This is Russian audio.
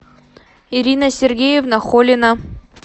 ирина сергеевна холина